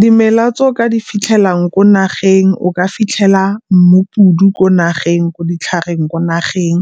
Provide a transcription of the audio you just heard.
Dimela tse o ka di fitlhelang ko nageng o ka fitlhela mmupudu ko nageng, ko ditlhareng, ko nageng.